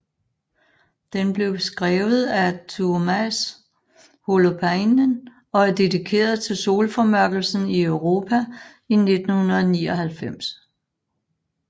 Den blev skrevet af Tuomas Holopainen og er dedikeret til solformørkelsen i Europa i 1999